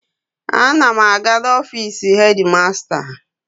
Ana m aga n'ofiisi hedi masta.